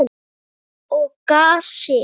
Gæs og gassi.